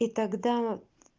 и тогда